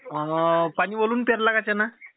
अअ पाणीभरून पेरला का चणा?